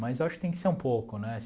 Mas eu acho que tem que ser um pouco, né?